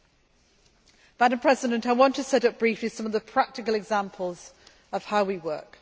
Madam President, I want to set out briefly some of the practical examples of how we work.